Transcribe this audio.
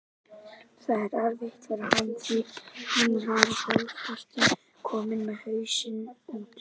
Það er erfitt fyrir hann því hann var hálfpartinn kominn með hausinn út.